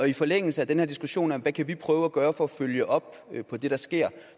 i forlængelse af den her diskussion om hvad vi kan prøve at gøre for at følge op på det der sker